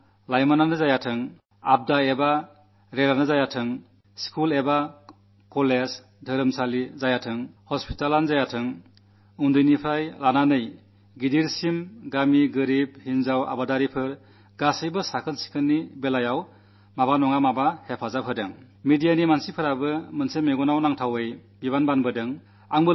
പാതയാണെങ്കിലും bus സ്റ്റാൻഡാണെങ്കിലും റെയിൽവേയാണെങ്കിലും സ്കൂളോ കോളജോ ആണെങ്കിലും മതസ്ഥാപനമാണെങ്കിലും ആശുപത്രിയാണെങ്കിലും കുട്ടികൾ മുതൽ വൃദ്ധർ വരെ ദരിദ്ര ഗ്രാമങ്ങളും കർഷകരും സ്ത്രീകളും എല്ലാവരും തന്നെ സ്വച്ഛതയുടെ കാര്യത്തിൽ തങ്ങളുടെ പങ്കു വഹിക്കുന്നു